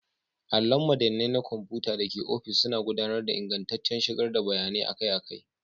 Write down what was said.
Allon madannai na kwamfuta da ke ofis suna gudanar da ingantaccen shigar da bayanai akai-akai.